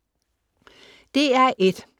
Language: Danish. DR1: